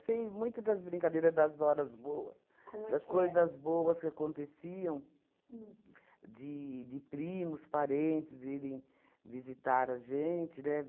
muito das brincadeiras das horas boas. Como é que é? Das coisas boas que aconteciam, de de primos, parentes irem visitar a gente, né?